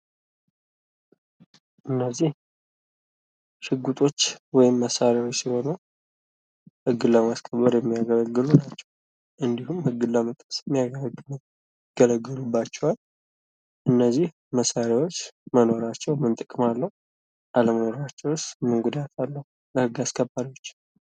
እነዚህ ሽጉጦች ወይም መሳሪያዎች ሲሆኑ፤ ህግን ለማስከበር የሚያገለግሉ ናቸው። እንዲሁም ህግን ለመጣስ ይገለገሉባቸዋል። እነዚህ መሳሪያዎች መኖራቸው ምን ጥቅም አላቸው? አለመኖራቸውስ ምን ጉዳት አለው ለህግ አስከባሪዎች?